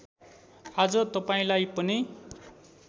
आज तपाईँलाई पनि